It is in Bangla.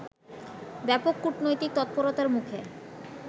ব্যাপক কূটনৈতিক তৎপরতার মুখে